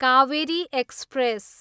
Kaveri express